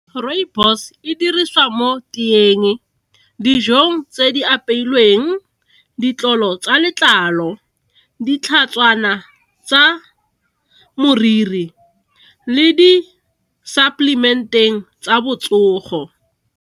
Rooibos e dirisiwa mo teeng, dijong tse di apeilweng, ditlolo tsa letlalo ditlhatshwana tsa moriri le di supplement-eng tsa botsogo.